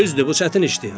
Düzdür, bu çətin işdir.